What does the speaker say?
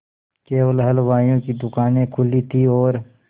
केवल हलवाइयों की दूकानें खुली थी और